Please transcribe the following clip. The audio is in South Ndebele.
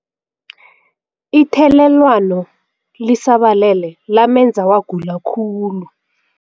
Ithelelwano lisabalele lamenza wagula khulu.